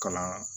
Kalan